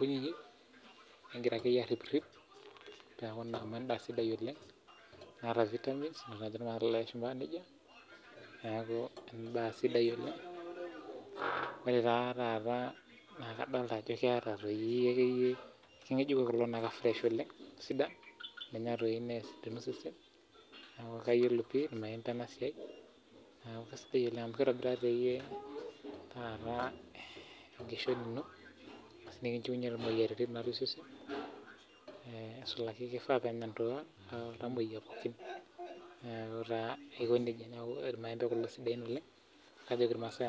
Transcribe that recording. kunyinyi nigira akeyie arhip rhip peeku naa amu endaa sidai oleng naata vitamins amu kejo naa ilashumba nija niaku embae sidai oleng' Ore taa taa naa kadolita ajo keeta toi akeyie ken'gejuko kulo akeyie naa freah oleng' Sidai eninya nesidanu osesen neeku kayiolo ena siai naa sidai oleng amu kitobirari keyie taata nekinjiunye imuoyiaritin natii osesen aisulaki iltamuoyia pookin niaku taa aikonejia ilmaembe kulo sidain oleng' najoki ilmaasai